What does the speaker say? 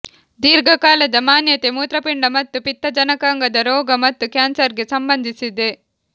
ದೀರ್ಘಕಾಲದ ಮಾನ್ಯತೆ ಮೂತ್ರಪಿಂಡ ಮತ್ತು ಪಿತ್ತಜನಕಾಂಗದ ರೋಗ ಮತ್ತು ಕ್ಯಾನ್ಸರ್ಗೆ ಸಂಬಂಧಿಸಿದೆ